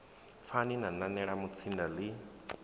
pfani na nanela mutsinda ḽi